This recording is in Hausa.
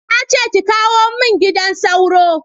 Na ce ki kawo mun gidan sauro